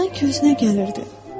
O sanki özünə gəlirdi.